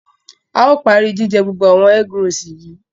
A o pari jijẹ gbogbo awon egg rolls yìí